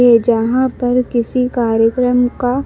ये जहां पर किसी कार्यक्रम का--